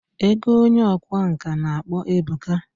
Ego Onye ọkwá nkà na akpo ebuka.